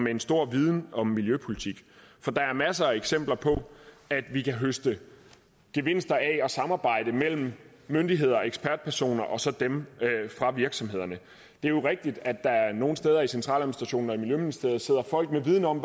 en stor viden om miljøpolitik for der er masser af eksempler på at vi kan høste gevinster af at der samarbejdes mellem myndigheder ekspertpersoner og så dem fra virksomhederne det er jo rigtigt at der nogle steder i centraladministrationen og i miljøministeriet sidder folk med viden om